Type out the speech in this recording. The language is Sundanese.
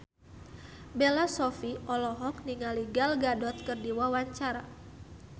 Bella Shofie olohok ningali Gal Gadot keur diwawancara